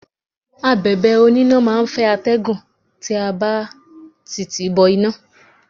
Abẹ̀bẹ̀ oníná máà ń fẹ́ atẹ́gùn tí a bá ti tìí bọ iná.